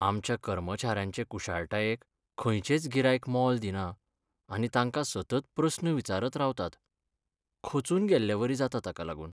आमच्या कर्मचाऱ्यांचे कुशळटायेक खंयचेंच गिरायक मोल दिना आनी तांकां सतत प्रस्न विचारत रावतात. खचून गेल्लेवरी जाता ताका लागून.